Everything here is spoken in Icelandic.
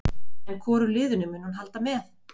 En hvoru liðinu mun hún halda með?